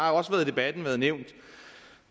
har også i debatten været nævnt at